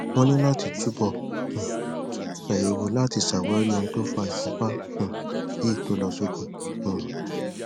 wọn ní láti túbọ um ṣàyẹwò láti ṣàwárí ohun tó fa ìfúnpa um yí to lọ sókè um